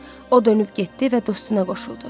O dönüb getdi və dostuna qoşuldu.